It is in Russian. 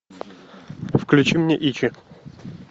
включи мне ичи